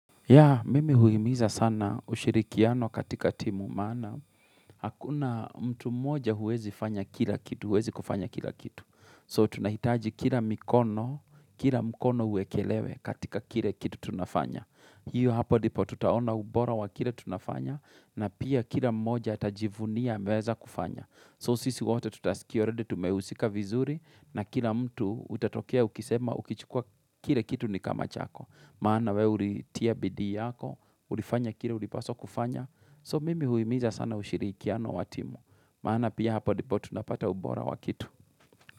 Ya, mimi huimiza sana ushirikiano katika timu, maana hakuna mtu moja huwezi fanya kila kitu, huwezi kufanya kila kitu. So, tunahitaji kila mikono, kila mkono uwekelewe katika kile kitu tunafanya. Hiyo hapo ndipo tutaona ubora wa kile tunafanya na pia kila moja atajivunia ameweza kufanya. So, sisi wote tutasikia alreadyi tumehusika vizuri na kila mtu utatokea ukisema ukichukua kile kitu ni kama chako. Maana we ulitia bidi yako, ulifanya kile ulipaswa kufanya. So mimi huimiza sana ushirikiano wa timu. Maana pia hapa ndibo tunapata ubora wa kitu.